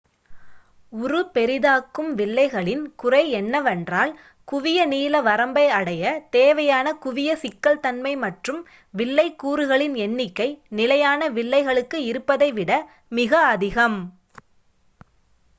உரு பெரிதாக்கும் வில்லைகளின் குறை என்னவென்றால் குவிய நீள வரம்பை அடைய தேவையான குவிய சிக்கல் தன்மை மற்றும் வில்லை கூறுகளின் எண்ணிக்கை நிலையான வில்லைகளுக்கு இருப்பதை விட மிக அதிகம்